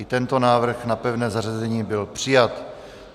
I tento návrh na pevné zařazení byl přijat.